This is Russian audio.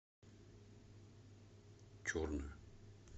черную